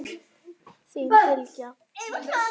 Þín Bylgja.